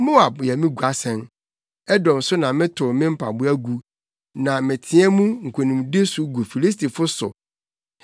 Moab yɛ me guasɛn, Edom so na metow me mpaboa gu; na meteɛ mu nkonimdi so gu Filistifo so.”